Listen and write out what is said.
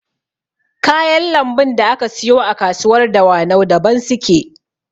Kayan lambun da aka siyo a kasuwar dawanau daban suke